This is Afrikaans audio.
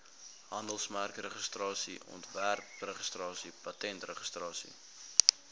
handelsmerkregistrasie ontwerpregistrasie patentregistrasie